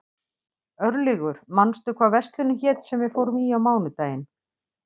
Örlygur, manstu hvað verslunin hét sem við fórum í á mánudaginn?